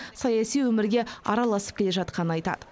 саяси өмірге араласып келе жатқанын айтады